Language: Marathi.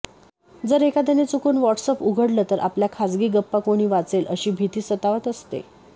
जर एखाद्याने चुकून व्हॉट्सअॅप उघडलं तर आपल्या खाजगी गप्पा कोणी वाचेल अशी भीती सतावत असते